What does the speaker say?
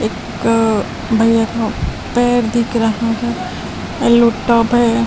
एक भैया का पैर दिख रहा है येलो टॉप हैं ।